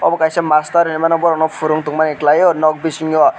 omo kaisa master hinmano borok no purung tong mani klaio nok bisingo.